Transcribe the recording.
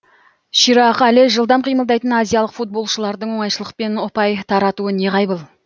ширақ әрі жылдам қимылдайтын азиялық футболшылардың оңайшылықпен ұпай таратуы неғайбыл